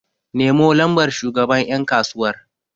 Nemo lambar shugaban yankasuwar!